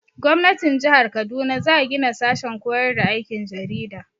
Gwamnatin jihar Kaduna za gina sashen koyar da aikin jarida.